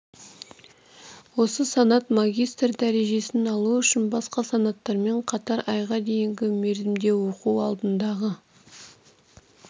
осы санат магистр дәрежесін алу үшін басқа санаттарымен қатар айға дейінгі мерзімде оқу алдындағы